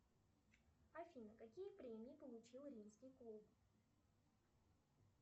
афина какие премии получил римский клуб